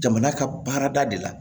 Jamana ka baarada de la